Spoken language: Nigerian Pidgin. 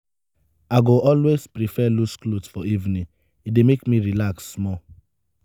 i go always prefer loose clothes for evening; e dey make me relax small.